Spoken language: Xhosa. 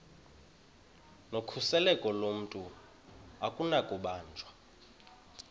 nokhuseleko lomntu akunakubanjwa